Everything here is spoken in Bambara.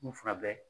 N'u fila bɛɛ